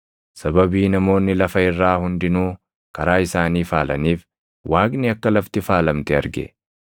Sababii namoonni lafa irraa hundinuu karaa isaanii faalaniif, Waaqni akka lafti faalamte arge.